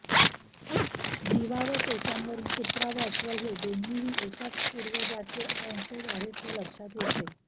जीवावशेषांवरून कुत्रा व अस्वल हे दोन्हीही एकाच पूर्वजाचे वंशज आहेत हे लक्षात येते